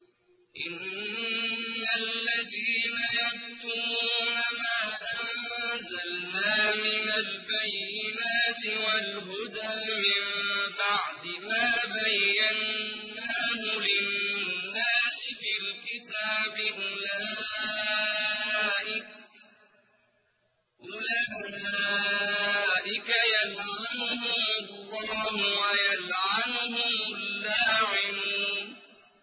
إِنَّ الَّذِينَ يَكْتُمُونَ مَا أَنزَلْنَا مِنَ الْبَيِّنَاتِ وَالْهُدَىٰ مِن بَعْدِ مَا بَيَّنَّاهُ لِلنَّاسِ فِي الْكِتَابِ ۙ أُولَٰئِكَ يَلْعَنُهُمُ اللَّهُ وَيَلْعَنُهُمُ اللَّاعِنُونَ